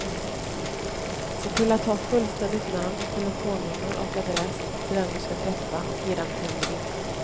Se till att ha fullständigt namn, telefonnummer och adress till den du ska träffa och ge dem till en väninna.